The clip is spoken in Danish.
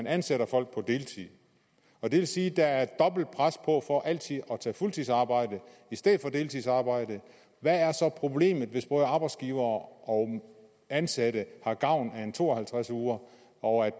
ansætter folk på deltid det vil sige at der er dobbelt pres på for altid at tage fuldtidsarbejde i stedet for deltidsarbejde hvad er så problemet hvis både arbejdsgivere og ansatte har gavn af at på to og halvtreds uger og